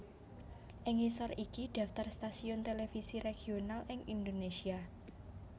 Ing ngisor iki daftar stasiun televisi regional ing Indonésia